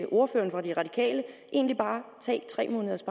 ordføreren for de radikale egentlig bare tage tre måneders